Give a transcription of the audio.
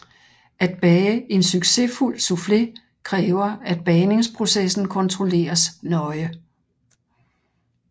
At bage en succesfuld soufflé kræver at bagningsprocessen kontrolleres nøje